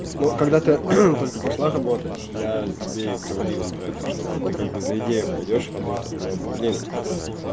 но когда ты только пошла работать я тебе говорил про то что ты как бы за идею пойдёшь работать но блин